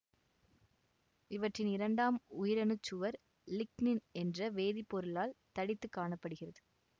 இவற்றின் இரண்டாம் உயிரணுச்சுவர் லிக்னின் என்ற வேதிப்பொருளால் தடித்துக் காண படுகிறது